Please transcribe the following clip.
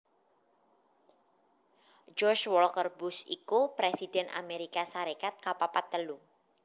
George Walker Bush iku Presidhèn Amérika Sarékat kapapat telu